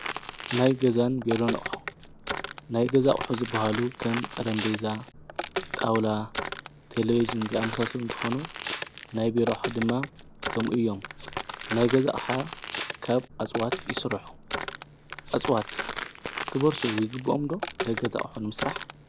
ናይ ገዛን ቢሮን ኣቁሑ ናይ ገዛ ኣቁሑ ዝበሃሉ ከም ጠረጴዛ ጣውላ ቴሌቭዥን ዝኣመሳሰሉ እንትኮኑ ናይ ቢሮ ኣቁሑ ድማ ከምኡ እዮም። ናይ ገዛ ኣቅሓ ካብ ኣፅዋት ይስርሑ። ኣፅዋት ክበርሱ ይግብኦም ዶ ናይ ገዛ ኣቁሑ ንምስራሕ ?